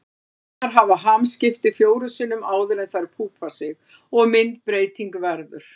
Lirfurnar hafa hamskipti fjórum sinnum áður en þær púpa sig og myndbreyting verður.